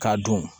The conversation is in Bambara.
K'a don